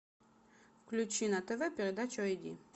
включи на тв передачу ай ди